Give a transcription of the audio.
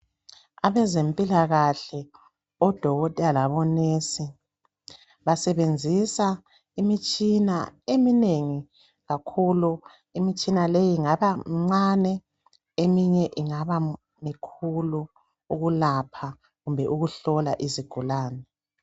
abezempilakahle odkotela labo nurse basebenzisa imitshina eminengi kakhulu imitshina leyi ingaba mincane eminye ingaba mikhulu ukulapha kumbe ukuhlola izigulane